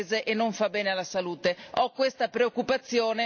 La burocrazia fa male alle imprese e non fa bene alla salute.